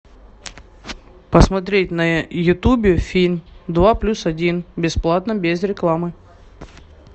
посмотреть на ютубе фильм два плюс один бесплатно без рекламы